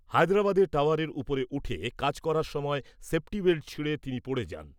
হায়দ্রাবাদে টাওয়ারের ওপরে উঠে কাজ করার সময় সেফটি বেল্ট ছিঁড়ে তিনি পড়ে যান।